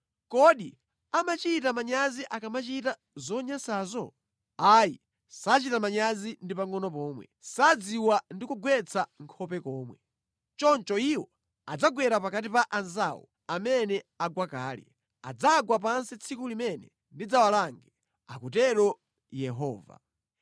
Kodi amachita manyazi akamachita zonyansazo? Ayi, sachita manyazi ndi pangʼono pomwe; sadziwa ndi kugwetsa nkhope komwe. Choncho iwo adzagwera pakati pa anzawo amene agwa kale; adzagwa pansi tsiku limene ndidzawalange,” akutero Yehova.